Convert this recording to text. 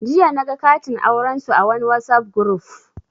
Jiya naga katin aurensu a wani Whatsapp guruf